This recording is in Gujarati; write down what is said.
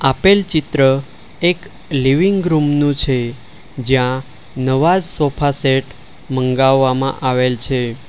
આપેલ ચિત્ર એક લિવિંગ રૂમ નું છે જ્યાં નવા સોફા સેટ મંગાવવામાં આવેલ છે.